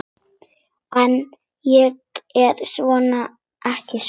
En ég er ekki svona.